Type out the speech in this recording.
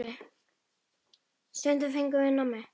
Stundum fengum við nammi.